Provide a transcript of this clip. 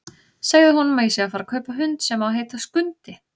Segðu honum að ég sé að fara að kaupa hund sem á að heita Skundi!